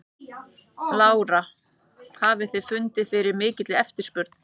Lára: Hafið þið fundið fyrir mikilli eftirspurn?